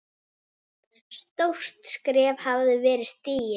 Stórt skref hafði verið stigið.